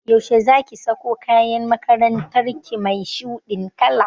Yaushe zaki sako kayan makarantar ki mai shuɗin kala?